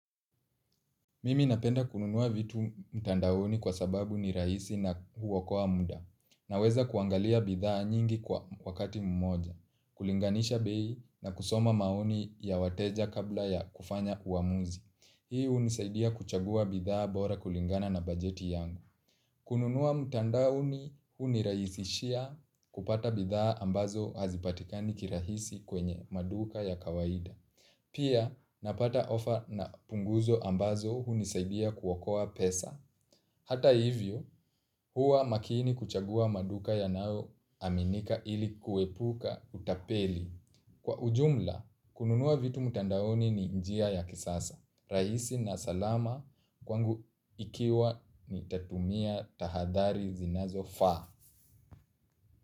Mimi napenda kununua vitu mtandaoni kwa sababu ni rahisi na huokoa muda, naweza kuangalia bidhaa nyingi kwa wakati mmoja, kulinganisha bei na kusoma maoni ya wateja kabla ya kufanya uamuzi. Hii hunisaidia kuchagua bidhaa bora kulingana na bajeti yangu. Kununua mtandaoni, hunirahisishia kupata bidhaa ambazo hazipatikani kirahisi kwenye maduka ya kawaida. Pia napata ofa na punguzo ambazo hunisaidia kuokoa pesa. Hata hivyo, huwa makini kuchagua maduka yanayoaminika ili kuepuka utapeli. Kwa ujumla, kununua vitu mtandaoni ni njia ya kisasa. Rahisi na salama kwangu ikiwa nitatumia tahadhari zinazofaa.